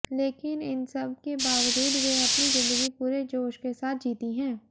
लेकिन इन सब के बावजूद वे अपनी जिंदगी पूरे जोश के साथ जीती हैं